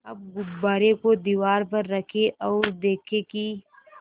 अब गुब्बारे को दीवार पर रखें ओर देखें कि